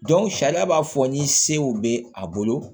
sariya b'a fɔ ni sew bɛ a bolo